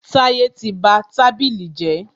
Táyẹ́ tí ba tábìlì jẹ́.